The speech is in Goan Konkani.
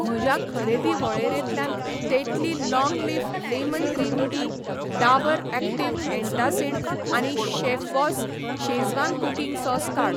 म्हज्या खरेदी वळेरेंतल्यान Tetley long leaf lemon green tea, Dabur active antacid आनी शेफबॉस शेझवान कुकिंग सॉस काड.